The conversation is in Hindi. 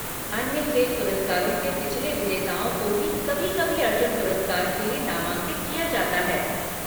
अन्य खेल पुरस्कारों के पिछले विजेताओं को भी कभी कभी अर्जुन पुरस्कार के लिए नामांकित किया जाता है।